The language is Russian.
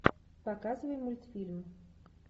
показывай мультфильм